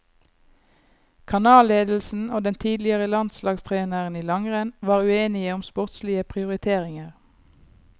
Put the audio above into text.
Kanalledelsen og den tidligere landslagstreneren i langrenn, var uenige om sportslige prioriteringer.